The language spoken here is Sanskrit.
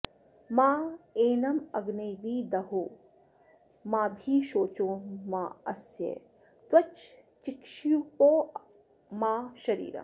मैन॑मग्ने॒ वि द॑हो॒ माभि शो॑चो॒ मास्य॒ त्वचं॑ चिक्षिपो॒ मा शरी॑रम्